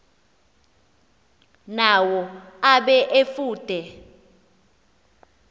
nawo abe efude